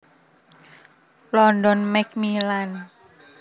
London Macmillan